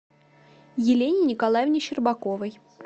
елене николаевне щербаковой